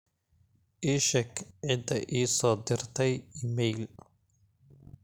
ii sheeg cidda ii soo dirtay iimayl